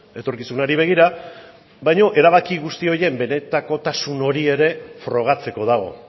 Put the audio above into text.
etorkizunari begira baino erabaki guzti horiek benetakotasun hori ere frogatzeko dago